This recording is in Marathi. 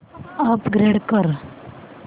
अपग्रेड कर